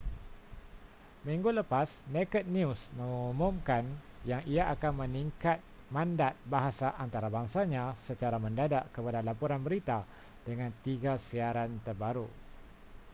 minggu lepas naked news mengumumkan yang ia akan meningkat mandat bahasa antarabangsanya secra mendadak kepada laporan berita dengan tiga siaran terbaru